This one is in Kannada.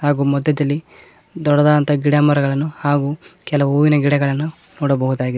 ಹಾಗು ಮಧ್ಯದಲ್ಲಿ ದೊಡ್ಡದಾದಂತ ಗಿಡಮರಗಳನ್ನು ಹಾಗೂ ಕೆಲವು ಹೂವಿನ ಗಿಡಗಳನ್ನು ನೋಡಬಹುದಾಗಿದೆ.